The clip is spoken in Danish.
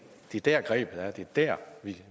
er der grebet er at det er der